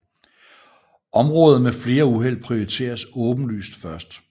Områder med flere uheld prioriteres åbenlyst først